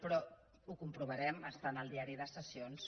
però ho comprovarem està en el diari de sessions